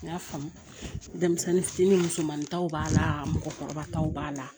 N y'a faamu denmisɛnnin fitinin musomanintaw b'a la mɔgɔkɔrɔba taw b'a la